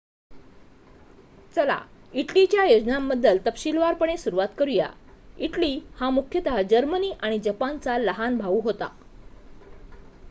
"चला इटलीच्या योजनांबद्दल तपशीलवारपणे सुरवात करूया. इटली हा मुख्यतः जर्मनी आणि जपानचा "लहान भाऊ" होता.